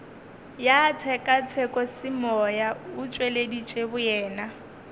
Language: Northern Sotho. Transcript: ya tshekatshekosemoya o tšweleditše boyena